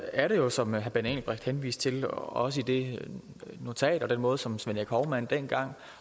er det jo som herre benny engelbrecht henviste til det det også i det notat og den måde som svend erik hovmand dengang